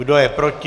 Kdo je proti?